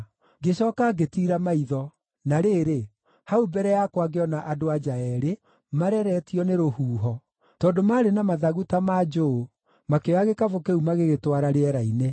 Ngĩcooka ngĩtiira maitho, na rĩrĩ, hau mbere yakwa ngĩona andũ-a-nja eerĩ, mareretio nĩ rũhuho; tondũ maarĩ na mathagu ta ma njũũ, makĩoya gĩkabũ kĩu magĩgĩtwara rĩera-inĩ.